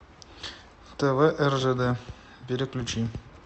тв ржд переключи